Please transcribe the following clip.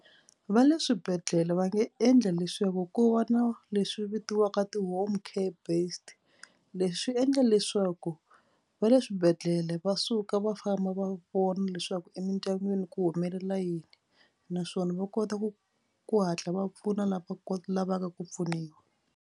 Va le swibedhlele va nge endla leswaku ko va na leswi vitiwaka ti-home care based. Leswi swi endla leswaku va le swibedhlele va suka va famba va vona leswaku emindyangwini ku humelela yini naswona va kota ku ku hatla va pfuna lava lavaka ku pfuniwa.